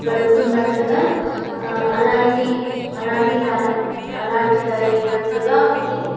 గడపతునట్టుగా అ అలాంటి అలాంటి అలాంటిదైనట్టుగా ఉంది.